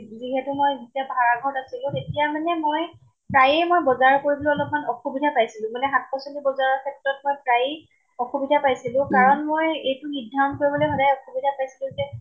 যিহেতু মই ভাড়া ঘৰত তেতিয়া মানে মই প্ৰায়ে মই বজাৰ কৰিবলৈ অলপ্মান অসুবিধা পাইছিলো। মানে শাক পাচলী বজাৰৰ ক্ষেত্ৰত মই প্ৰায় অসুবিধা পাইছিলো। কাৰণ মই এইটো নিধাৰণ কৰিবলৈ সদায় অসুবিধা পাইছিলো যে